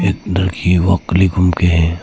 एक लड़की घूम के है।